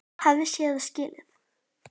Hafði séð og skilið.